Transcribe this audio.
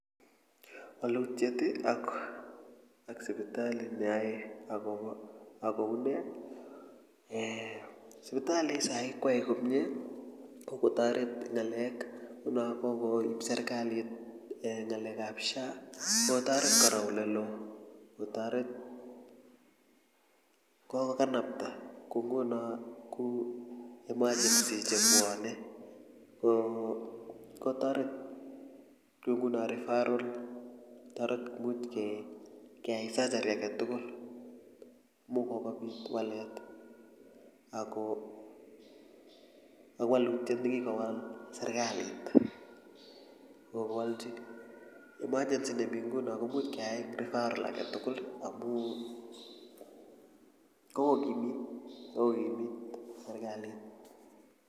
walutiet ak sipitali neoe akobo akounee eeh sipitali saa hii koae komie kokotoret ngalek nguno kokoib serikalit eeh ngalekab sha kokotoret kora olelo kotoret kokokanapta kou nguno kou emergency chebwone kokotoret kou nguno referral kokotoret imuch keai surgery aketugul amu kokobit walet ako walutiet nekikowal serikalit kokowalchi emergency nemii nguno komuch keai eng referral aketugul amu kokokimit kokokimit serikalit.